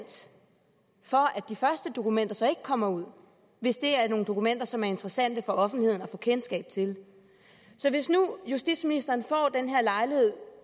for at de første dokumenter så ikke kommer ud hvis det er nogle dokumenter som er interessante for offentligheden at få kendskab til så hvis nu justitsministeren får den her lejlighed